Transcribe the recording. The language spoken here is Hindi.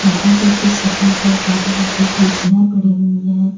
यहां पे कुछ सफेद और काली रंग की कुर्सियां पड़ी हुई है।